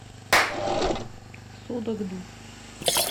судогду